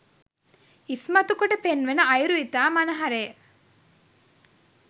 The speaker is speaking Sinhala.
ඉස්මතු කොට පෙන්වන අයුරු ඉතා මනහරය